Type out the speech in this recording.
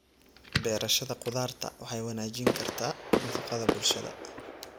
Beerashada khudaarta waxay wanaajin kartaa nafaqada bulshada.